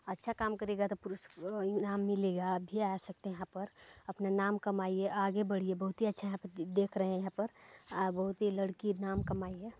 अच्छा काम करेगा तो पूरस अअअ इनाम मिलेगा आप भी आ सकते है यहाँ पर अपना नाम कमाईऐ आगे बढ़िए बहुत ही अच्छा देख रहे है यहाँ पर आ बहुत ही लड़की नाम कमाई है।